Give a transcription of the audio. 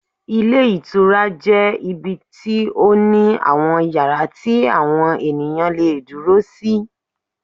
Ilé Ìtura jẹ́ ibi tí ó ní àwọn yàrá tí àwọn ènìyàn le è dúró sí